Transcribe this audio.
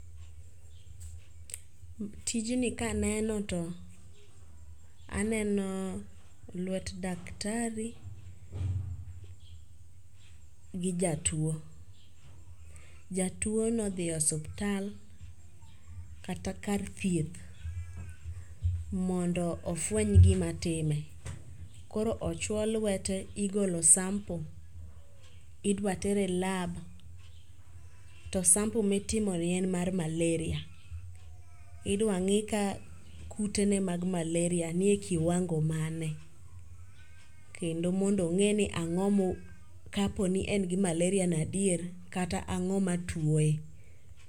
Tijni kaneno to aneno lwet daktari gi jatuo. Jatuo ne odhi osuptal kata kar thieth mondo ofweny gima time. Koro ochwo lwete igolo sample idwa ter e lab to sample mitiomo ni en mar malaria. Idwa ng'i ka kute ne mag malaria nie kiwango mane. Kendo mondo ong'e ni ang'o kapo nie n gimalaria no adier kata ang'o matuoe.